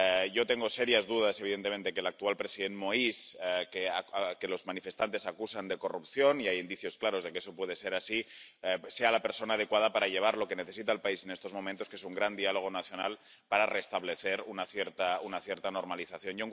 Yo tengo serias dudas, evidentemente, de que el actual presidente Moïse —al que los manifestantes acusan de corrupción, y hay indicios claros de que pueda ser cierto— sea la persona adecuada para llevar a cabo lo que necesita el país en estos momentos, que es un gran diálogo nacional para restablecer una cierta normalización.